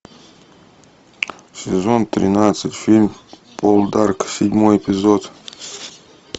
сезон тринадцать фильм полдарк седьмой эпизод